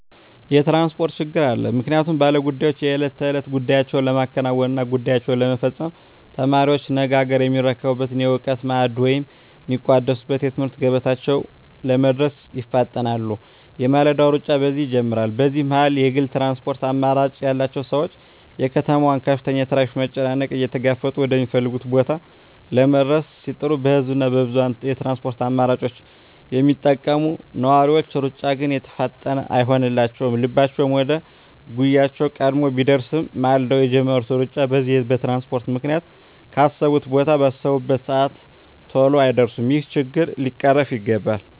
የትራንስፖርት ችግር አለ ምክንያቱም ባለ ጉዳዮች የእለት ተእለት ጉዳያቸዉን ለማከናወን እና ጉዳያቸዉን ለመፈፀም፣ ተማሪዎች ነገ አገርየሚረከቡበትን የእዉቀት ማዕድ ወደ ሚቋደሱበት የትምህርት ገበታቸዉ ለመድረስ ይፋጠናሉ የማለዳዉ ሩጫ በዚህ ይጀምራል በዚህ መሀል የግል ትራንስፖርት አማራጭ ያላቸዉ ሰዎች የከተማዋን ከፍተኛ የትራፊክ መጨናነቅ እየተጋፈጡ ወደ ሚፈልጉት ቦታ ለመድረስ ሲጥሩ በህዝብ እና በብዙኀን የትራንስፖርት አማራጮች የሚጠቀሙ ነዋሪዎች ሩጫ ግን የተፋጠነ አይሆንላቸዉም ልባቸዉ ወደ ጉዳያቸዉ ቀድሞ ቢደርስም ማልደዉ የጀመሩት ሩጫ በዚህ በትራንስፖርት ምክንያት ካሰቡት ቦታ ባሰቡበት ሰአት ተሎ አይደርሱም ይሄ ችግር ሊቀረፍ ይገባል